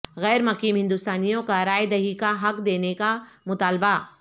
غیر مقیم ہندوستانیوں کا رائے دہی کا حق دینے کا مطالبہ